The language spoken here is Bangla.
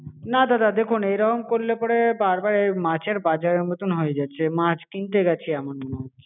না দাদা দেখুন এইরকম করলে পরে বার বার মাছের বাজারের মতন হয়ে যাচ্ছে মাছ কিনতে গেছি এমন মনে হচ্ছে.